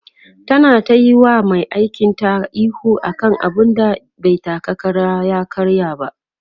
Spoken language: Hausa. ta na tayi wa Mai aikin ta ihu akan abun da bai taka Kara ya karya ba